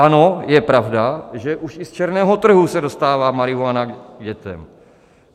Ano, je pravda, že už i z černého trhu se dostává marihuana k dětem.